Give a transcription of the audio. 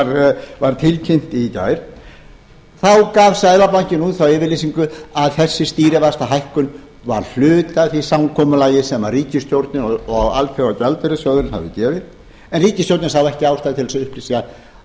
og var tilkynnt í gær þá gaf seðlabankinn út þá yfirlýsingu að þessi stýrivaxtahækkun var hluti af því samkomulagi sem ríkisstjórnin og alþjóðagjaldeyrissjóðurinn höfðu gert en ríkisstjórnin sá ekki ástæðu til þess að